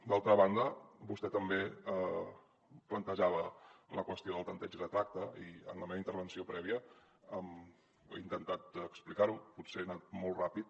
d’altra banda vostè també plantejava la qüestió del tanteig i retracte i en la meva intervenció prèvia he intentat explicar ho potser he anat molt ràpid